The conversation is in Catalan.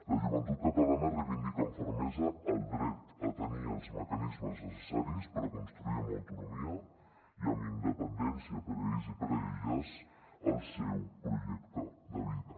la joventut catalana reivindica amb fermesa el dret a tenir els mecanismes necessaris per a construir amb autonomia i amb independència per a ells i per a elles el seu projecte de vida